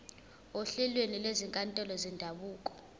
ohlelweni lwezinkantolo zendabuko